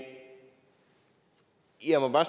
jeg må bare